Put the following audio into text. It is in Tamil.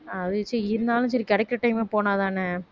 அது சரி இருந்தாலும் சரி கிடைக்கிற time ல போனாதானே